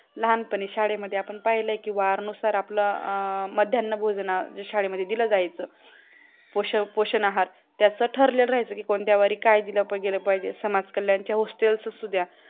लहानपणी शाळेमध्ये आपण पाहिलं की वारानुसार आपलं मध्यान भोजन शाळेमध्ये दिलं जायचं पोषपोषण आहार ज्याच्या ठरलेलं राहायचं की कोणत्या वारी काय दिलं गेला पाहिजे समाज कल्याणचा गोष्टी असू द्या